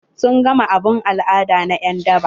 Sun gama abun al'ada na en daba?